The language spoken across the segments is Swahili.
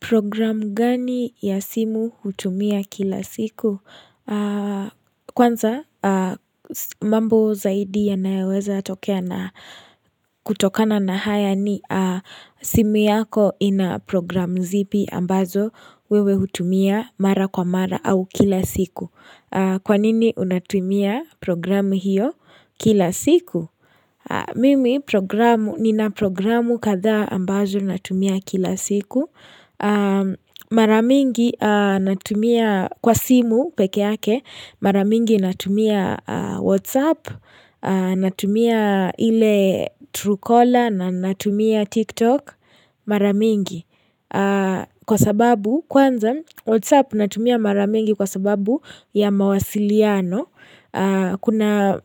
Programu gani ya simu hutumia kila siku? Aaah Kwanza, aaaaah mambo zaidi yanayoweza tokea na kutokana na haya ni aaah simu yako ina programu zipi ambazo wewe hutumia mara kwa mara au kila siku. Kwanini unatumia programu hiyo kila siku? Aaah mimi programu, nina programu kadhaa ambazo natumia kila siku aaaah. Maramingi aaah natumia kwa simu pekee yake mara mingi natumia aaah whatsapp, aah natumia ile truecaller na natumia tiktok maramingi aaah Kwa sababu kwanza, whatsapp natumia mara mingi kwa sababu ya mawasiliano Kuna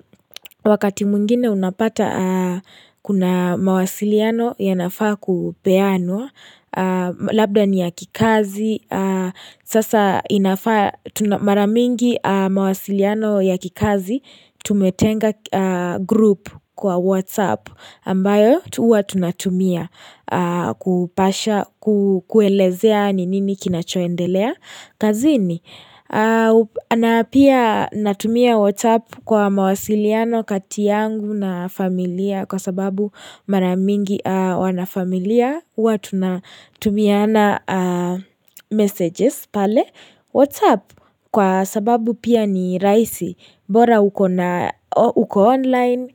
wakati mwingine unapata aaah kuna mawasiliano yanafaa kupeanwa aah Labda ni ya kikazi aaah Sasa inafaa tuna mara mingi mawasiliano ya kikazi Tumetenga aaah group kwa whatsapp ambayo tu huwa tunatumia aaah kupasha ku ku kuelezea ni nini kinachoendelea kazini aaah u na pia natumia whatsapp kwa mawasiliano kati yangu na familia. Kwa sababu mara mingi aaah wanafamilia huwa tunatumiana aaah messages pale whatsapp kwa sababu pia ni rahisi bora uko na uko online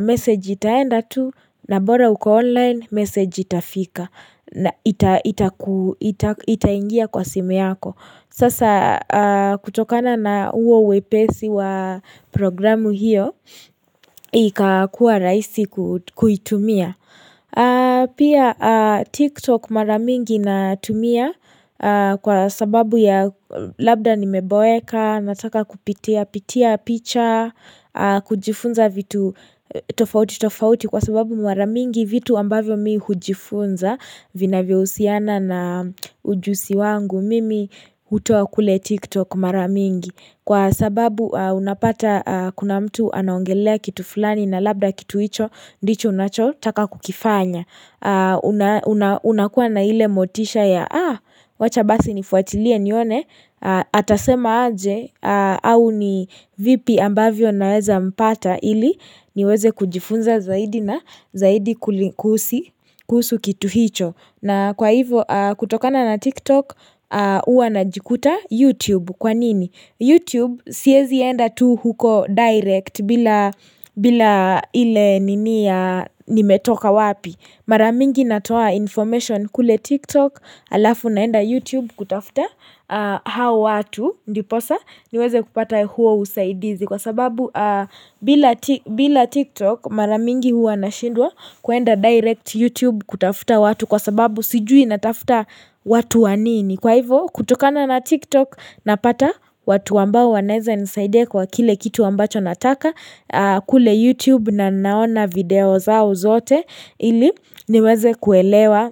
message itaenda tu na bora uko online message itafika Itaingia kwa simu yako. Sasa aaah kutokana na huo uwepesi wa programu hiyo ika kuwa rahisi kutu kuitumia aah Pia aaaah TikTok maramingi natumia aah kwa sababu ya labda nimeboeka, nataka kupitia pitia picha aaah, kujifunza vitu tofauti tofauti kwa sababu mara mingi vitu ambavyo mi hujifunza vina vyavyo husiana na ujusi wangu mimi hutoa kule tiktok maramingi kwa sababu aaah unapata aaah kuna mtu anaongelea kitu fulani na labda kitu hicho ndicho unachotaka kukifanya Unakuwa na ile motisha ya aaah! Wacha basi nifuatilie nione aaah Atasema aje aaah,,,, au ni vipi ambavyo naweza mpata ili niweze kujifunza zaidi na zaidi kuli kuhusu kuhusu kitu hicho na kwa hivo aaaah kutokana na TikTok aaah huwa najikuta YouTube kwanini YouTube siezi enda tu huko direct bila bila i ile nini ya nimetoka wapi. Maramingi natoa information kule TikTok alafu naenda YouTube kutafuta hao watu. Ndiposa niweze kupata huo usaidizi kwa sababu aah bila ti bila TikTok maramingi huwa nashindwa kwenda direct YouTube kutafuta watu kwa sababu sijui natafuta watu wanini. Kwa hivo kutokana na tiktok napata watu ambao wanaeza nisaidia kwa kile kitu ambacho nataka aaah kule youtube na naona video zao zote ili niweze kuelewa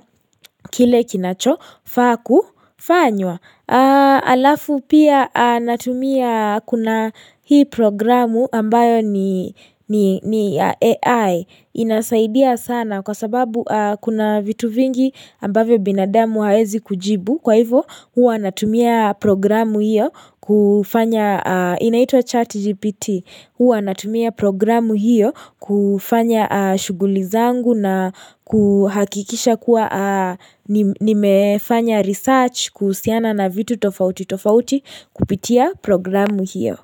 kile kinachofaa kufanywa aaaah Alafu pia aaaaah natumia kuna hii programu ambayo ni ni ni ya AI inasaidia sana kwa sababu kuna vitu vingi ambavyo binadamu haezi kujibu kwa hivo huwa natumia programu hiyo ku kufanya aaah inaitwa chat GPT huwa natumia programu hiyo kufanya aah shughuli zangu na kuhakikisha kuwa nimefanya research kuhusiana na vitu tofauti tofauti kupitia programu hiyo.